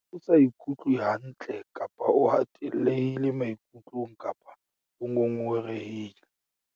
o sa ikutlwe hantle kapa o hatellehile maikutlong kapa o ngongorehile?